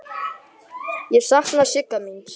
Ég sakna Sigga míns.